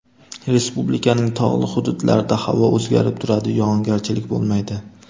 Respublikaning tog‘li hududlarida havo o‘zgarib turadi, yog‘ingarchilik bo‘lmaydi.